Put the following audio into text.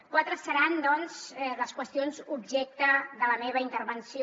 quatre seran doncs les qüestions objecte de la meva intervenció